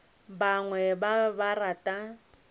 bangwe ba be ba rata